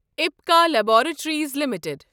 Apika laboratories limited